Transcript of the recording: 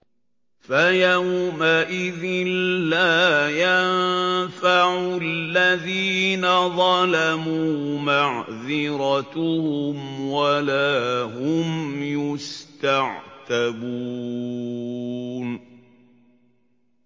فَيَوْمَئِذٍ لَّا يَنفَعُ الَّذِينَ ظَلَمُوا مَعْذِرَتُهُمْ وَلَا هُمْ يُسْتَعْتَبُونَ